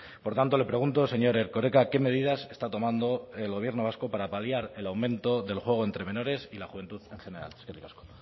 por tanto le pregunto señor erkoreka qué medidas está tomando el gobierno vasco para paliar el aumento del juego entre menores y la juventud en general eskerrik asko